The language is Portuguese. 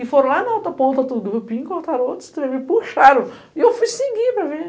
E foram lá na outra ponta, e cortaram outros trem, e puxaram, e eu fui seguir para ver.